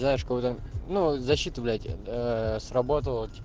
знаешь как будто ну защита блять сработала